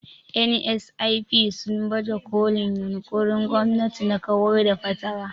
(NSIP) sun baje kolin yunƙurin gwamnati na kawar da fatara.